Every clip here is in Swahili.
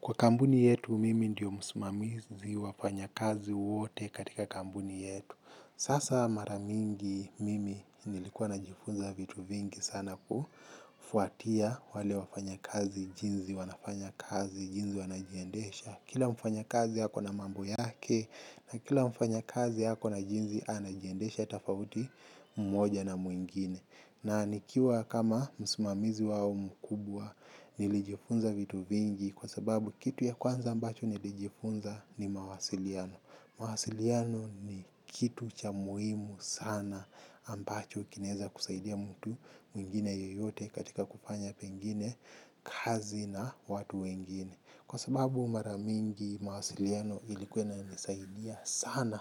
Kwa kampuni yetu mimi ndiyo msimamizi wafanya kazi wote katika kampuni yetu. Sasa mara mingi mimi nilikuwa na jifunza vitu vingi sana kufuatia wale wafanya kazi jinzi wanafanya kazi jinzi wanajiendesha. Kila mfanya kazi hako na mambo yake na kila mfanya kazi hako na jinzi anajiendesha tafauti mmoja na mwingine. Na nikiwa kama msimamizi wao mkubwa nilijifunza vitu vingi kwa sababu kitu ya kwanza ambacho nilijifunza ni mawasiliano. Mwasiliano ni kitu cha muhimu sana ambacho kinaeza kusaidia mtu mwingine yeyote katika kufanya pengine kazi na watu wengine. Kwa sababu maramingi mawasiliano ilikuwa inanisaidia sana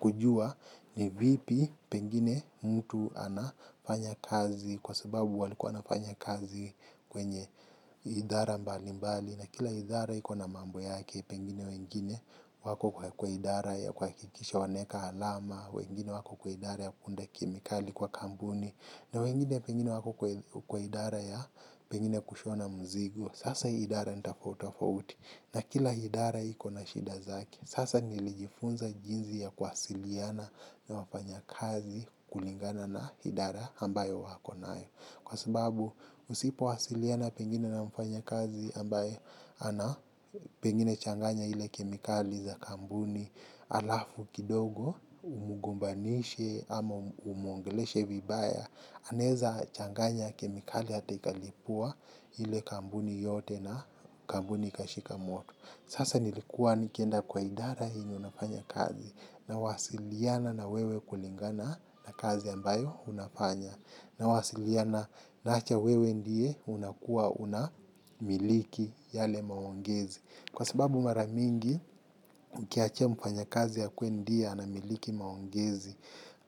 kujua ni vipi pengine mtu anafanya kazi. Kwa sababu walikuwa anafanya kazi kwenye idhara mbali mbali. Na kila idhara iko na mambo yake, pengine wengine wako kwa idhara ya kuwakikisha wanaeka alama. Wengine wako kwa idhara ya kuunda kemikali kwa kampuni. Na wengine pengine wako kwa idara ya pengine kushona mzigo. Sasa hii idara nitafauti tafauti na kila idara ikona shida zaki. Sasa nilijifunza jinzi ya kuwasiliana na wafanya kazi kulingana na idara ambayo wako nayo. Kwa sababu usipowasiliana pengine na mfanya kazi ambaye ana pengine changanya ile kemikali za kampuni alafu kidogo umugombanishe ama umuongeleshe vibaya anaeza changanya kemikali hata ikalipua ile kampuni yote na kampuni ikashika moto sasa nilikuwa nikienda kwa idara yenye unafanya kazi nawasiliana na wewe kulingana na kazi ambayo unafanya nawasiliana naacha wewe ndiye unakuwa unamiliki yale maongezi. Kwa sababu mara mingi, ukiachia mfanya kazi akuwe ndiye anamiliki maongezi,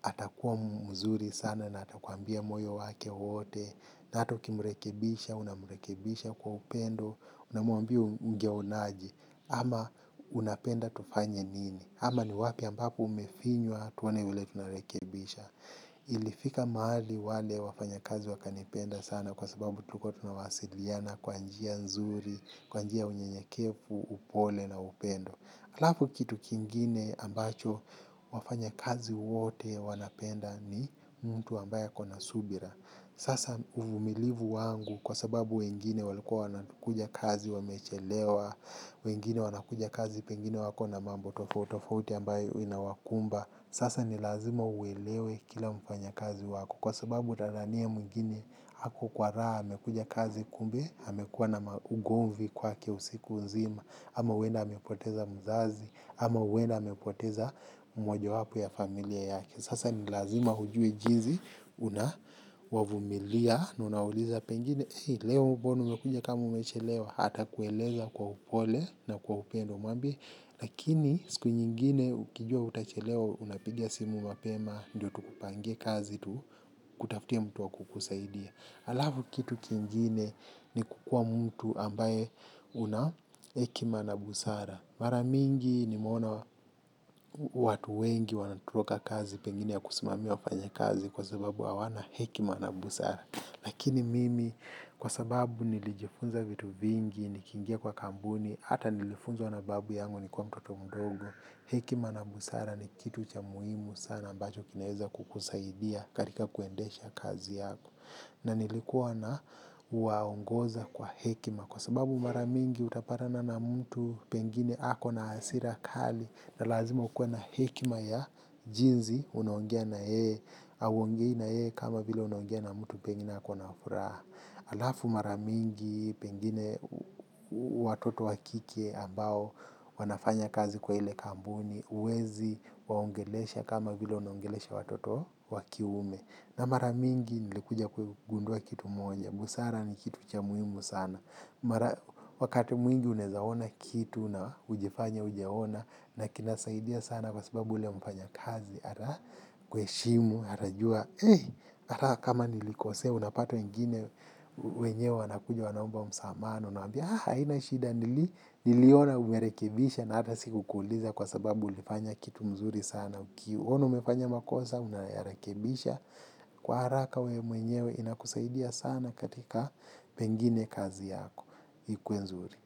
atakuwa mzuri sana na atakuambia moyo wake wote, na hata ukimrekebisha, unamrekebisha kwa upendo, unamuambia ungeonaje, ama unapenda tufanye nini, ama ni wapi ambapo umefinywa tuone vile tunarekebisha. Ilifika maali wale wafanyakazi wakanipenda sana kwa sababu tulikuwa tunawasiliana kwa njia nzuri, kwa njia ya unyenyekevu, upole na upendo. Halafu kitu kingine ambacho wafanya kazi wote wanapenda ni mtu ambaye ako na subira. Sasa uvumilivu wangu kwa sababu wengine walikuwa wanakuja kazi wamechelewa, wengine wanakuja kazi pengine wako na mambo tofauti tofauti ambayo huwa inawakumba. Sasa ni lazima uwelewe kila mfanya kazi wako kwa sababu utadhania mwingine hako kwa raha amekuja kazi kumbe amekuwa na maugomvi kwake usiku nzima ama huwenda amepoteza mzazi ama huwenda amepoteza mmoja wapo ya familia yake sasa ni lazima ujue jinzi unawavumilia na unauliza pengine leo mbona umekuja kama umechelewa atakueleza kwa upole na kwa upendo mwambie lakini siku nyingine ukijua utachelewa unapiga simu mapema. Ndiyo tukupangie kazi tukutafutie mtu wa kukusaidia. Alafu kitu kingine ni kukua mtu ambaye una hekima na busara. Mara mingi nimeona watu wengi wanatoroka kazi. Pengine ya kusimamia wafanya kazi kwa sababu hawana hekima na busara. Lakini mimi kwa sababu nilijifunza vitu vingi. Nikiingia kwa kampuni hata nilifunzwa na babu yangu nikuwa mtoto mdogo. Hekima na busara ni kitu cha muhimu sana ambacho kinaweza kukusaidia karika kuendesha kazi yako. Na nilikuwa na waongoza kwa hekima kwa sababu mara mingi utapatana na mtu pengine hako na hasira kali na lazima ukuwe na hekima ya jinzi unaongea na yeye, hauongei na yeye kama vile unaongea na mtu pengine hako na furaha. Alafu mara mingi, pengine watoto wakike ambao wanafanya kazi kwa ile kampuni, uwezi waongelesha kama vile unaongelesha watoto wa kiume. Na maramingi nilikuja kugundua kitu moja, busara ni kitu cha muhimu sana. Wakati mwingi unaezaona kitu, na ujifanye ujaona, na kinasaidia sana kwa sababu ule mfanya kazi. Atakuheshimu, atajua, ata kama nilikosea, unapata wengine wenyewe wanakuja wanaomba msamaha, na uwaambia, ah, haina shida nili, niliona umerekibisha na ata sikukuuliza kwa sababu ulifanya kitu mzuri sana. Kiona umefanya makosa, unayarekibisha, kwa haraka wewe mwenyewe inakusaidia sana katika pengine kazi yako, ikuwe nzuri.